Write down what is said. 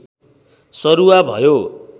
सरूवा भयो